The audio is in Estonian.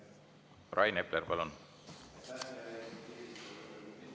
Rain Epler, palun!